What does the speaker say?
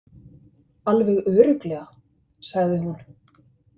Alveg örugglega, sagði hún.